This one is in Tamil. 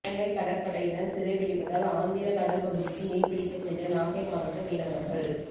இலங்கை கடற்படையினர் சிறை பிடிப்பதால் ஆந்திர கடல் பகுதிக்கு மீன் பிடிக்கச் சென்ற நாகை மாவட்ட மீனவர்கள்